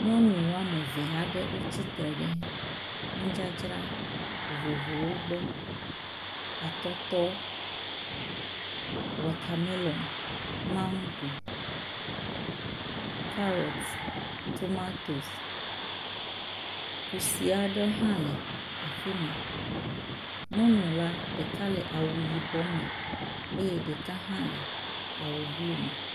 Nyɔnu wɔme eve aɖe wotsitre ɖe nudzadzra vovovowo gbɔ; atɔtɔ, watamelɔn, mago, kaɖɔt, tomatosi. Kusi aɖe hã le afi ma. Nyɔnu la ɖeka le awu yibɔ me eye ɖeka hã le awu blu me.